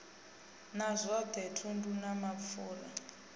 na zwothe thundu na mapfura